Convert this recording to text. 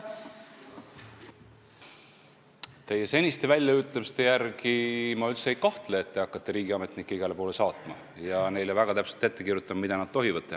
Teie seniste väljaütlemiste järgi otsustades ma üldse ei kahtle, et te hakkaksite riigiametnikke igale poole saatma ja neile väga täpselt ette kirjutama, mida nad tohivad teha.